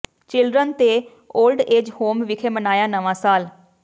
children ਤੇ old age home ਵਿਖੇ ਮਨਾਇਆ ਨਵਾਂ ਸਾਲ